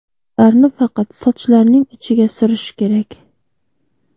Ularni faqat sochlarning uchiga surish kerak.